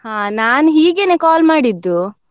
ಹಾ ನಾನ್ ಹೀಗೇನೇ call ಮಾಡಿದ್ದು.